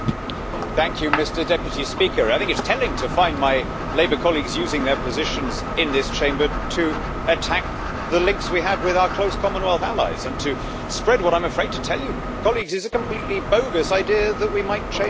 Mr President, I think it is telling to find my Labour colleagues using their positions in this Chamber to attack the links we have with our close Commonwealth allies and to spread what I am afraid to tell you, colleagues, is a completely bogus idea that we might change our minds.